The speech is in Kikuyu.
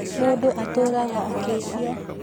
Mundu atũũraga akĩhia